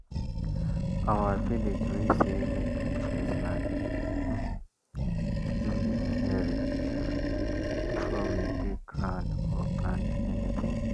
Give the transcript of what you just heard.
our village way say make we bless land um wey we inherit um before we dig ground or plant anything.